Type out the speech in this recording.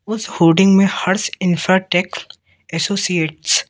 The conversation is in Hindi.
उस होडिंग में हर्ष इंफ्राटेक एसोसिएट्स --